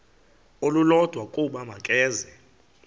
olulodwa ukuba makeze